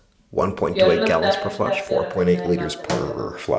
Fjölmörg dæmi um þetta er að finna í Bandaríkjunum.